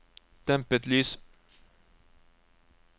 dempet lys